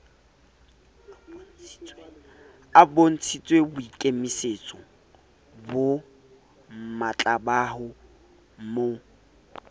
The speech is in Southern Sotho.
a bontshitseboikemisetso bo matlabaho mo